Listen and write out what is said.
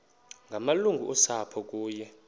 ngamalungu osapho kunye